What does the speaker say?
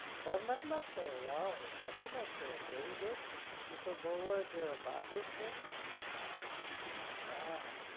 ડર નથ લાગતો વાવ નથી લાગતો very good તું તો બઉં જ બહાદુર છે હા